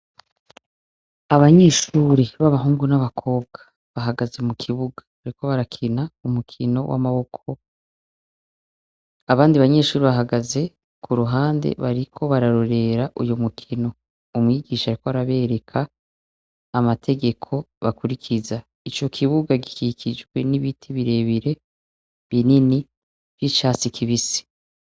Abanyeshure ba bahungu n'abakobwa bahagaze mu kibuga bariko barakina umukino w'amaboko, abandi banyeshure bahagaze ku ruhande bariko bararorera uwo mukino. Umwigisha ariko arabereka amategeko bakurikiza. Ico kibuga gikikijwe n'ibiti birebire binini vyi'catsi kibisi.